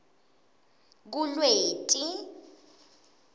kulweti